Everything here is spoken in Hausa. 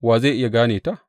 Wa zai iya gane ta?